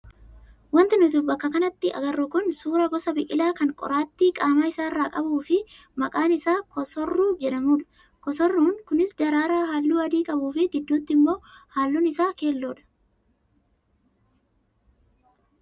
Wanti nuti bakka kanatti agarru kun suuraa gosa biqilaa kan qoraattii qaama isaarraa qabuu fi maqaan isaa kosorruu jedhamudha. Kosorruun kunis daraaraa halluu adii qabuu fi gidduutti immoo halluun isaa keelloodha.